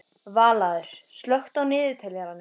Vallaður, slökktu á niðurteljaranum.